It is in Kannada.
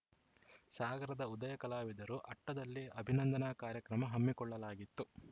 ಸಾಗರದ ಉದಯಕಲಾವಿದರು ಅಟ್ಟದಲ್ಲಿ ಅಭಿನಂದನಾ ಕಾರ್ಯಕ್ರಮ ಹಮ್ಮಿಕೊಳ್ಳಲಾಗಿತ್ತು